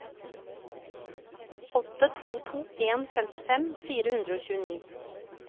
åtte to to en femtifem fire hundre og tjueni